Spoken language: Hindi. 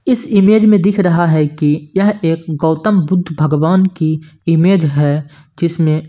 इस इमेज में दिख रहा है कि यह एक गौतम बुद्ध भगवान की इमेज है जिसमे --